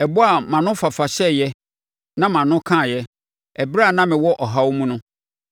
ɛbɔ a mʼano fafa hyɛeɛ na mʼano kaaeɛ ɛberɛ a na mewɔ ɔhaw mu no.